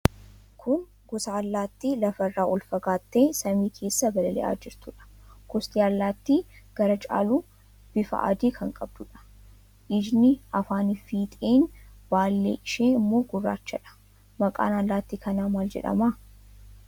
Kun gosa allaattii lafa irraa ol fagaattee samii keessa balali'aa jirtuudha. Gosti allaattii gara caaluun bifa adii kan qabduudha. Ijni, afaaniifi fiixeen baallee ishee immoo gurraachadha. Maqaan allaattii kanaa maal jedhama?